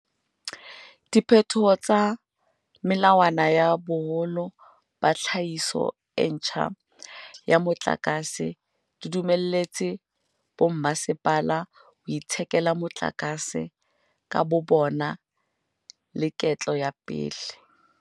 Diphetoho tsa melawana ya boholo ba tlhahiso e ntjha ya motlakase di dumelletse bommasepala ho ithekela motlakase ka bobona leketlo la pele.